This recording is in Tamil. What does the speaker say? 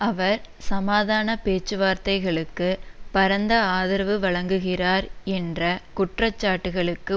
அவர் சமாதான பேச்சுவார்த்தைகளுக்கு பரந்த ஆதரவு வழங்குகிறார் என்ற குற்றச்சாட்டுக்களுக்கு